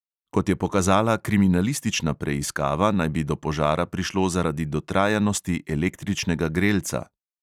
Kot je pokazala kriminalistična preiskava, naj bi do požara prišlo zaradi dotrajanosti električnega grelca.